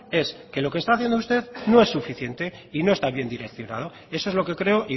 es que lo que está haciendo usted no es suficiente y no está bien direccionado eso es lo que creo